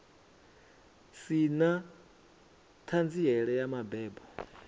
si na ṱhanziela ya mabebo